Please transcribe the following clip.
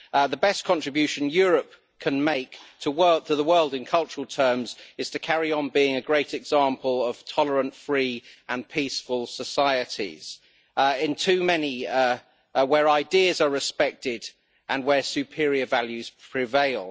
The best contribution Europe can make to the world in cultural terms is to carry on being a great example of tolerant, free and peaceful societies, where ideas are respected and where superior values prevail.